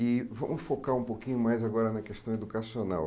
E vamos focar um pouquinho mais agora na questão educacional.